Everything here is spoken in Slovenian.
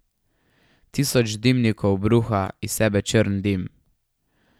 Tisoč dimnikov bruha iz sebe črn dim.